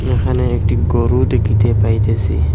এখানে একটি গরু দেখিতে পাইতেছি।